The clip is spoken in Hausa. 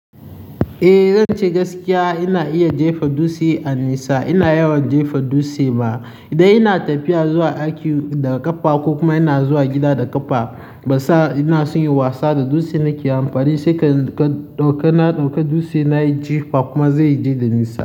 Eh zan ce gaskiya, ina iya jefa dutse a nesa. Ina yawan jefa dutse ma idan ina tafiya zuwa aiki daga ƙafa ko kuma ina zuwa gida da ƙafa. Ban sa ina son yi wasa da dutse nake amfani sai ɗauka na ɗauka dutse nayi ji kuma zai je da nisa.